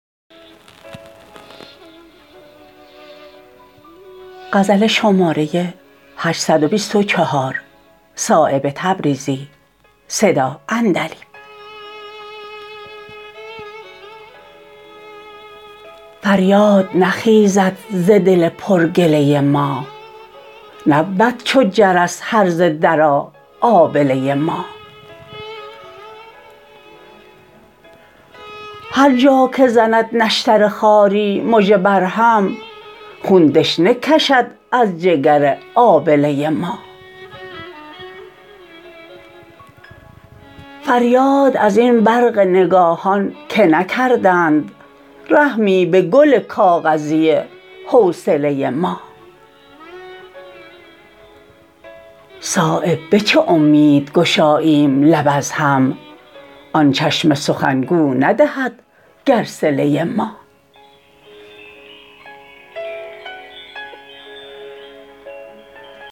فریاد نخیزد ز دل پر گله ما نبود چو جرس هرزه درا آبله ما هر جا که زند نشتر خاری مژه بر هم خون دشنه کشد از جگر آبله ما فریاد ازین برق نگاهان که نکردند رحمی به گل کاغذی حوصله ما صایب به چه امید گشاییم لب از هم آن چشم سخنگو ندهد گر صله ما